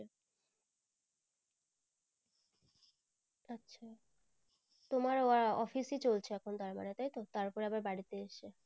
তোমার আবার office ই চলছে এখুন তার মানে তাই তো তারপর আবার বাড়িতে এসে